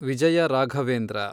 Vijaya Raghavendra